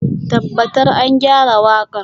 Tabbatar an gyara waƙar.